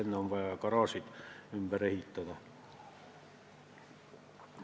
Enne on vaja garaažid ümber ehitada.